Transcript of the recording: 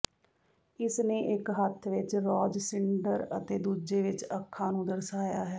ਇਸਨੇ ਇੱਕ ਹੱਥ ਵਿੱਚ ਰਾਜਸਿੰਡਰ ਅਤੇ ਦੂਜੇ ਵਿੱਚ ਅਖਾਂ ਨੂੰ ਦਰਸਾਇਆ ਹੈ